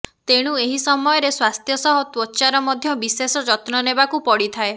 ତେଣୁ ଏହି ସମୟରେ ସ୍ବାସ୍ଥ୍ୟ ସହ ତ୍ବଚାର ମଧ୍ୟ ବିଶେଷ ଯତ୍ନ ନେବାକୁ ପଡିଥାଏ